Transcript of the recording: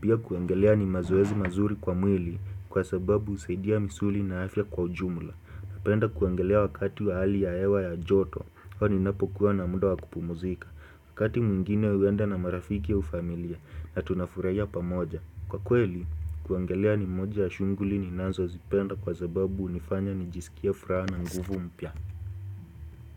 Pia kuogelea ni mazoezi mazuri kwa mwili kwa sababu husaidia misuli na afya kwa ujumula. Napenda kuogelea wakati wa hali ya hewa ya joto. Ninapokuwa na muda wa kupumzika. Wakati mwingine huenda na marafiki au familia na tunafurahia pamoja. Kwa kweli, kuogelea ni moja ya shughuli ninazozipenda kwa sababu hunifanya nijisikie furaha na nguvu mpya.